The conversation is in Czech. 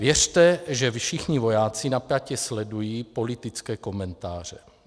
Věřte, že všichni vojáci napjatě sledují politické komentáře.